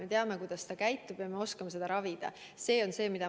Me teame, kuidas ta käitub, ja me oskame seda haigust ravida.